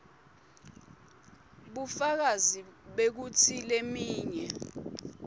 bufakazi bekutsi leminye